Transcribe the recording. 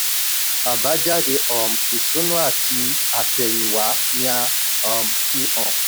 ábájáde um ìṣúná àti àtẹ̀yìnwá ni a um fi hàn.